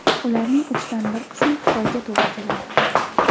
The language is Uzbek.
Ularning uchdan bir qismi Xitoyga to‘g‘ri keladi.